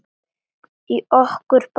Í okkur báðum.